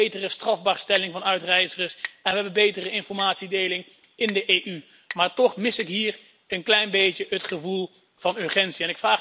We hebben betere strafbaarstelling van uitreizigers en we hebben betere informatiedeling in de EU. Maar toch mis ik hier een klein beetje het gevoel van urgentie.